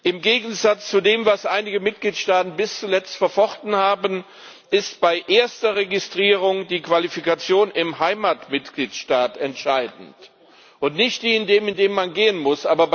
Im Gegensatz zu dem, was einige Mitgliedstaaten bis zuletzt verfochten haben, ist bei erster Registrierung die Qualifikation im Heimatmitgliedstaat entscheidend und nicht die in dem, in den man gehen muss.